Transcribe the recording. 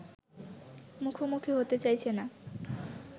মুখোমুখি হতে চাইছে না